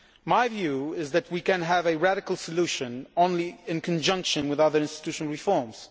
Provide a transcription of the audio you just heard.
My view is that we can only have a radical solution in conjunction with other institutional reforms